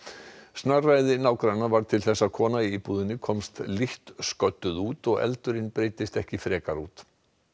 snarræði nágranna varð til þess að kona í íbúðinni komst lítt sködduð út og eldurinn breiddist ekki frekar út